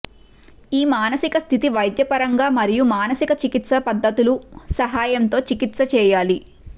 ఈ మానసిక స్థితి వైద్యపరంగా మరియు మానసిక చికిత్స పద్ధతుల సహాయంతో చికిత్స చేయాలి